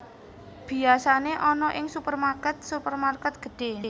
Biyasane ana ing supermarket supermarket gedhe